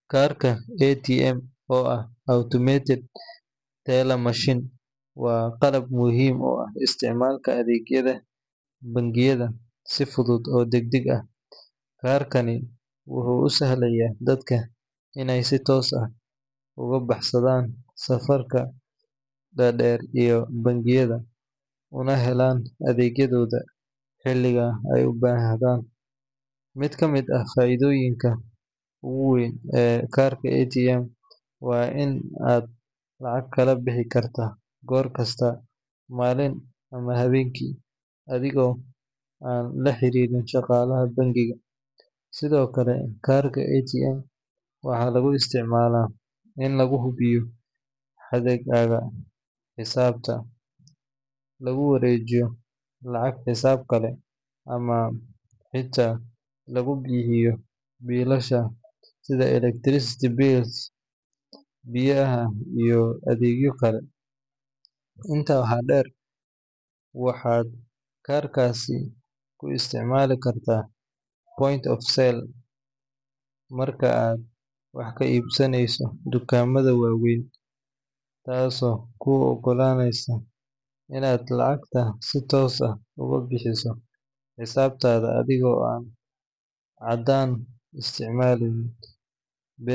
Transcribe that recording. Kaarka ATM, oo ah "Automatic Teller Machine", waa qalab muhiim u ah isticmaalka adeegyada bangiyada si fudud oo degdeg ah. Kaarkani wuxuu u sahlayaa dadka inay si toos ah uga baxsadaan safafka dhaadheer ee bangiyada, una helaan adeegyadooda xilliga ay u baahdaan. Mid ka mid ah faa’iidooyinka ugu weyn ee kaarka ATM waa in aad lacag kala bixi karto goor kasta, maalintii ama habeenkii, adiga oo aan la xiriirin shaqaalaha bangiga. Sidoo kale, kaarka ATM waxaa lagu isticmaalaa in lagu hubiyo hadhaaga xisaabta, lagu wareejiyo lacag xisaab kale, ama xitaa lagu bixiyo biilasha sida electricity bills, biyaha, iyo adeegyo kale. Intaa waxaa dheer, waxaad kaarkaasi ku isticmaali kartaa Point of Sale (POS) marka aad wax ka iibsanayso dukaamada waaweyn, taasoo kuu ogolaanaysa inaad lacagta si toos ah uga bixiso xisaabtaada adiga oo aan caddaan isticmaalin.